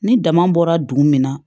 Ni dama bɔra dugu min na